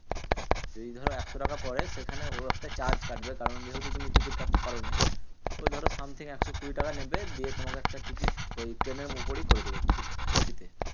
যদি ধরো একশো টাকা পরে সেখানে ও একটা charge কাটবে কারণ যেহেতু তুমি টিকিট কাটতে পারোনি। ওই ধরো something একশো কুড়ি টাকা নেবে দিয়ে তোমাকে একটা টিকিট ওই ট্রেনের উপরেই করে দেবে TTE তে।